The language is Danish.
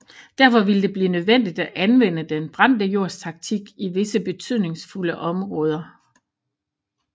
Derfor ville det blive nødvendigt at anvende den brændte jords taktik i visse betydningsfulde områder